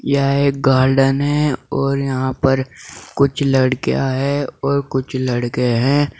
यह गार्डन है और यहां पर कुछ लड़कियां है और कुछ लड़के हैं।